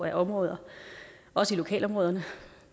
af områder også i lokalområderne